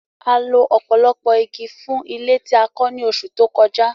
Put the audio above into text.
A lo ọ̀pọ̀lọpọ̀ igi fún ilé tí a kọ́ ní oṣù tó kọjá